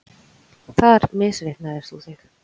Þar misreiknar þú þig.